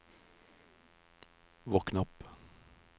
våkn opp